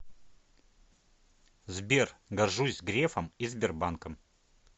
сбер горжусь грефом и сбербанком